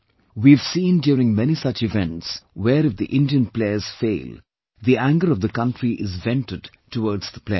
We have seen during many such events where if the Indian players fail, the anger of the country is vented towards the players